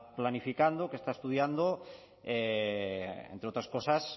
planificando que está estudiando entre otras cosas